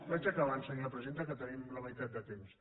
vaig acabant senyora presidenta que tenim la meitat de temps